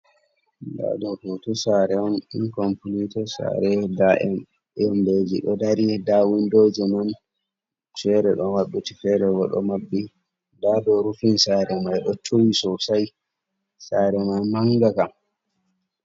Nɗa ɗo hoto sare on incompilited sare nda mbeji ɗo dari nda windoje man fere ɗo maɓɓiti ferebo ɗo maɓɓi nda ɗo rufin sare mai ɗo tuwi sosai sare mai manga Kam.